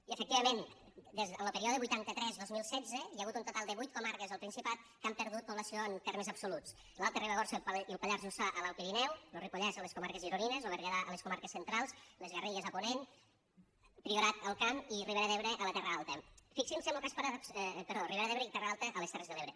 i efectivament en lo període vuitanta tres dos mil setze hi ha hagut un total de vuit comarques al principat que han perdut població en termes absoluts l’alta ribagorça i el pallars jussà a l’alt pirineu lo ripollès a les comarques gironines lo berguedà a les comarques centrals les garrigues a ponent priorat alt camp i ribera d’ebre i terra alta a les terres de l’ebre